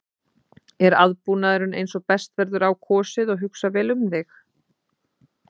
Er aðbúnaðurinn eins og best verður á kosið og hugsað vel um þig?